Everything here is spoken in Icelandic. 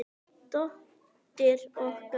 Dóttir okkar?